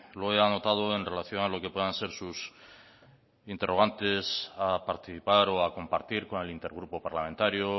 lo he anotado en relación a los que puedan ser sus interrogantes a participar o a compartir con el intergrupo parlamentario